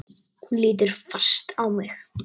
Hún lítur fast á mig.